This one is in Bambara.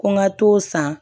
Ko n ka t'o san